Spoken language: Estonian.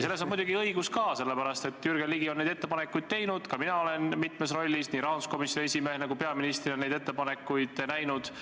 Selles on teil muidugi õigus, sest Jürgen Ligi on neid ettepanekuid teinud, ka mina olen mitmes rollis, nii rahanduskomisjoni esimehena kui ka peaministrina neid ettepanekuid näinud.